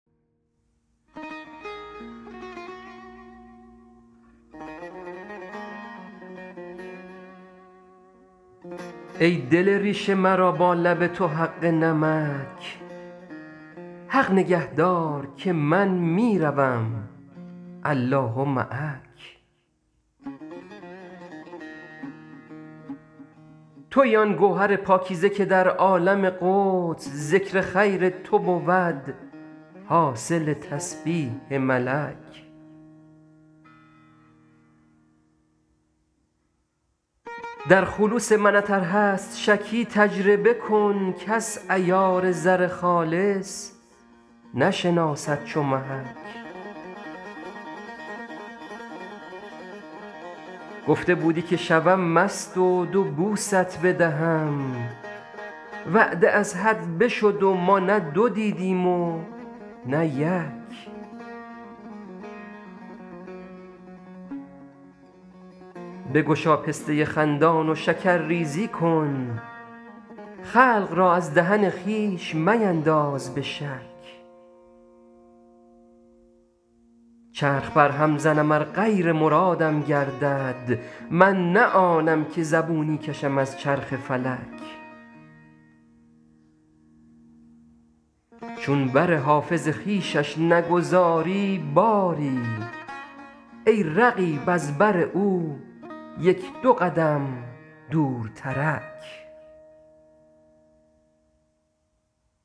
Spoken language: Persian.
ای دل ریش مرا با لب تو حق نمک حق نگه دار که من می روم الله معک تویی آن گوهر پاکیزه که در عالم قدس ذکر خیر تو بود حاصل تسبیح ملک در خلوص منت ار هست شکی تجربه کن کس عیار زر خالص نشناسد چو محک گفته بودی که شوم مست و دو بوست بدهم وعده از حد بشد و ما نه دو دیدیم و نه یک بگشا پسته خندان و شکرریزی کن خلق را از دهن خویش مینداز به شک چرخ برهم زنم ار غیر مرادم گردد من نه آنم که زبونی کشم از چرخ فلک چون بر حافظ خویشش نگذاری باری ای رقیب از بر او یک دو قدم دورترک